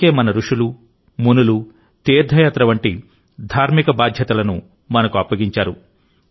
అందుకే మన రుషులు మునులు తీర్థయాత్ర వంటి ధార్మిక బాధ్యతలను మనకు అప్పగించారు